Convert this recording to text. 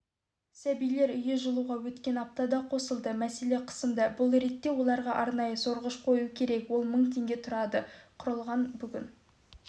сәбилер үйі жылуға өткен аптада қосылды мәселе қысымда бұл ретте оларға арнайы сорғыш қою қажет ол мың теңге тұрады құрылғы бүгін